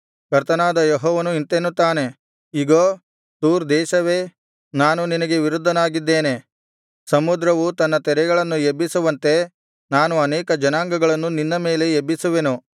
ಕರ್ತನಾದ ಯೆಹೋವನು ಇಂತೆನ್ನುತ್ತಾನೆ ಇಗೋ ತೂರ್ ದೇಶವೇ ನಾನು ನಿನಗೆ ವಿರುದ್ಧವಾಗಿದ್ದೇನೆ ಸಮುದ್ರವು ತನ್ನ ತೆರೆಗಳನ್ನು ಎಬ್ಬಿಸುವಂತೆ ನಾನು ಅನೇಕ ಜನಾಂಗಗಳನ್ನು ನಿನ್ನ ಮೇಲೆ ಎಬ್ಬಿಸುವೆನು